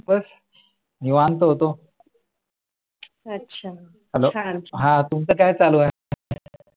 बस निवांत होतो हा तुमचा काय चालू आहे?